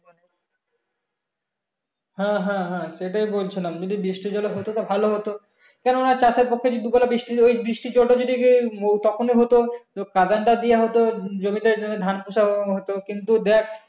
হ্যাঁ হ্যাঁ হ্যাঁ হ্যাঁ সেটাই বলছিলাম যদি বৃষ্টির জলে হতো তাহলে ভালো হতো কেননা চাষের পক্ষে যদি ওই বৃষ্টি ওই বৃষ্টির জল তা যদি তখনি হতো তো কাদান টা দেওয়া হতো জমিতে জমিতে ধান পোঁতাও হতো কিন্তু দেখ